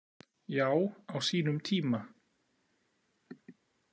Já, á sínum tíma.